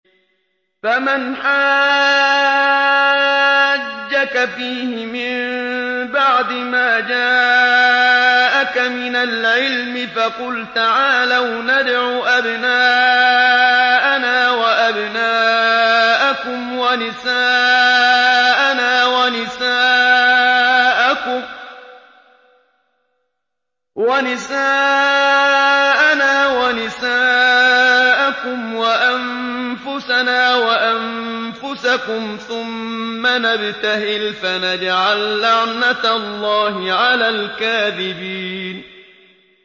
فَمَنْ حَاجَّكَ فِيهِ مِن بَعْدِ مَا جَاءَكَ مِنَ الْعِلْمِ فَقُلْ تَعَالَوْا نَدْعُ أَبْنَاءَنَا وَأَبْنَاءَكُمْ وَنِسَاءَنَا وَنِسَاءَكُمْ وَأَنفُسَنَا وَأَنفُسَكُمْ ثُمَّ نَبْتَهِلْ فَنَجْعَل لَّعْنَتَ اللَّهِ عَلَى الْكَاذِبِينَ